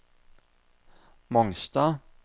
Mongstad